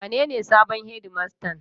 Wanene sabon shedimastan?